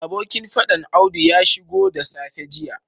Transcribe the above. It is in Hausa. Abokin fadan audu ya shigo da safe jiya